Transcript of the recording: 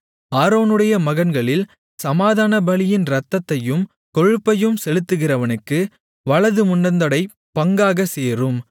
ஆரோனுடைய மகன்களில் சமாதானபலியின் இரத்தத்தையும் கொழுப்பையும் செலுத்துகிறவனுக்கு வலது முன்னந்தொடை பங்காகச் சேரும்